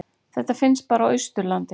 Þetta finnst bara á Austurlandi.